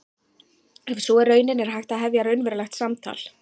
Ef sú er raunin er hægt að hefja raunverulegt samtal.